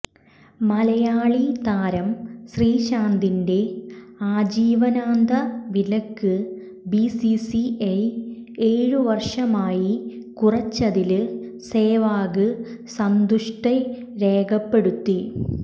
മലയാളി താരം ശ്രീശാന്തിന്റെ ആജീവനാന്ത വിലക്ക് ബിസിസിഐ ഏഴു വര്ഷമായി കുറച്ചതില് സേവാഗ് സന്തുഷ്ടി രേഖപ്പെടുത്തി